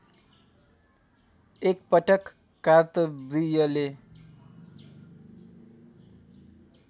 एक पटक कार्तवीर्यले